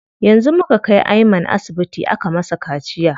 Yanzu muka kai Ayman asibiti aka masa kaciya.